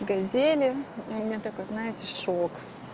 газели у меня такой знаете шок